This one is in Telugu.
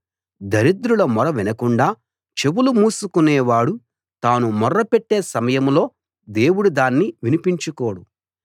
దరిద్రుల మొర వినకుండా చెవులు మూసుకునేవాడు తాను మొర్ర పెట్టే సమయంలో దేవుడు దాన్ని వినిపించుకోడు